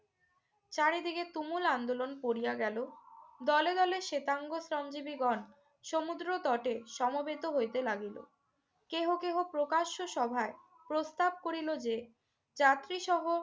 চারিদিকে তুমুল আন্দোলন পড়িয়া গেল। দলে দলে শেতাঙ্গ শ্রমজীবীগণ সমুদ্র তটে সমবেত হইতে লাগিল। কেহ কেহ প্রকাশ্য সভায় প্রস্তাব করিল যে যাত্রীসহ